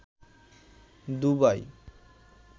ডুবাই